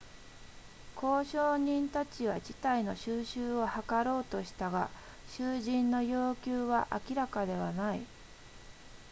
交渉人たちは事態の収拾を図ろうとしたが囚人の要求は明らかではない